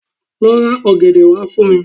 Lo ra ògèdè wa fun mi